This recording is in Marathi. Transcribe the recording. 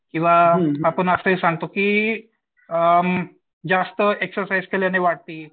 किंवा आपण असे ही सांगतो की अ जास्त एक्झरसाईझ केल्याने वाढते.